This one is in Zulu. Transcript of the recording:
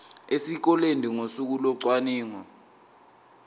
esikoleni ngosuku locwaningo